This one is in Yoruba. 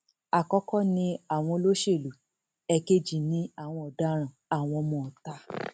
àkọkọ ni àwọn olóṣèlú ẹẹkejì ní àwọn ọdaràn àwọn ọmọọta